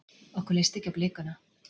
Okkur leist ekki á blikuna.